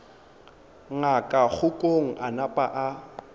ngaka kgokong a napa a